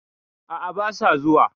A'a basa zuwa.